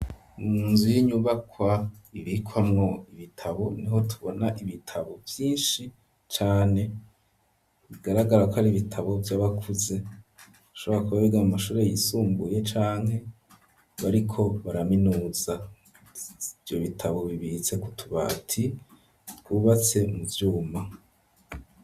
Munzu y'inyubakwa ibikwamwo ibitabo niho tubona ibitabo vyinshi cane bigaragarako ari ibitabo vy'abakuze bashobora kwigira mu mashure yisumbuye canke bariko baraminuza ivyo bitabo bibitse kutubati twubatse mu vyuma.